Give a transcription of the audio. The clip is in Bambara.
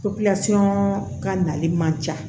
ka nali man ca